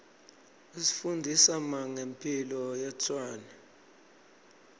is ifundzisa mange mphilo yetrwane